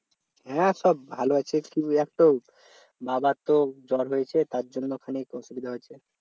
হ্যাঁ সব ভালো আছি কিন্তু একটা বাবার তো জ্বর হয়েছে তার জন্য খানিক অসুবিধা হয়েছে